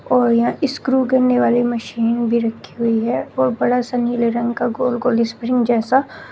और यह स्क्रू करने वाली मशीन भी रखी हुई है और बड़ा सा नीले रंग का गोल गोल स्प्रिंग जैसा--